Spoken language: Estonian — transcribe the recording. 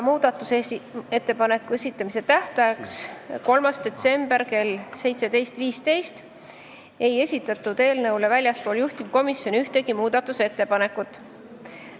Muudatusettepanekute esitamise tähtajaks, mis oli 3. detsember kell 17.15, ei esitatud väljastpoolt juhtivkomisjoni ühtegi ettepanekut.